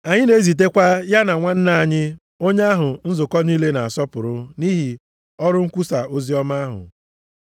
Anyị na-ezitekwa ya na nwanna anyị onye ahụ nzukọ niile na-asọpụrụ nʼihi ọrụ ikwusa oziọma ahụ.